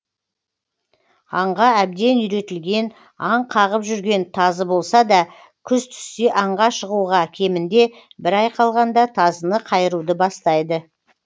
аңға әбден үйретілген аң қағып жүрген тазы болса да күз түссе аңға шығуға кемінде бір ай қалғанда тазыны қайыруды бастайды